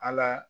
Ala